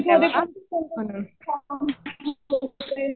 संगीत मध्ये